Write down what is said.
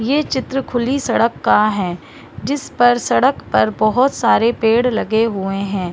ये चित्र खुली सड़क का है जिस पर सड़क पर बहुत सारे पेड़ लगे हुए है।